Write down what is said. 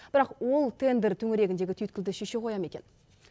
бірақ ол тендер төңірегіндегі түйіткілді шеше қоя мекен